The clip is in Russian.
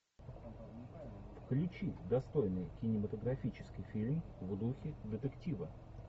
включи достойный кинематографический фильм в духе детектива